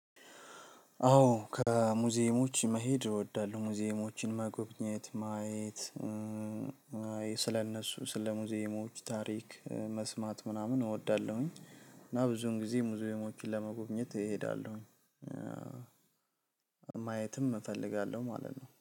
አዎ ከሙዚየሞች መሄድ እወዳለሁ ሙዚየሞችን መጎብኘት ማየት ስለነሱ ስለ ሙዚየሞች ታሪክ መስማት ምናምን እወዳለሁኝ። እና ብዙን ጊዜ ሙዚየሞችን ለመጎብኘት እሄዳለሁ። ማየትም እፈልጋለሁ ማለት ነው